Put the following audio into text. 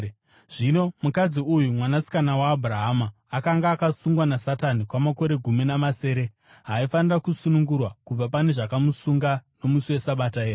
Zvino mukadzi uyu, mwanasikana waAbhurahama, akanga akasungwa naSatani kwamakore gumi namasere, haaifanira kusunungurwa kubva pane zvakamusunga nomusi weSabata here?”